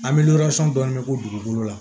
An bɛ dɔɔnin k'u dugukolo la